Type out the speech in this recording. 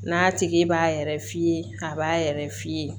N'a tigi b'a yɛrɛ f'i ye a b'a yɛrɛ f'i ye